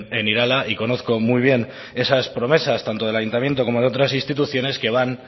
en irala y conozco muy bien esas promesas tanto del ayuntamiento como de otras instituciones que van